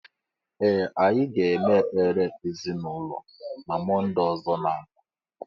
Ee anyi ga-eme ekpere ezịnaụlọ na mọnde ọzọ na- abịa.